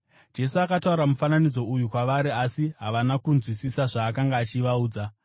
Jesu akataura mufananidzo uyu kwavari, asi havana kunzwisisa zvaakanga achivaudza.